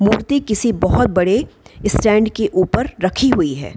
मूर्ति किसी बहुत बड़े स्टैंड के ऊपर रखी हुई है।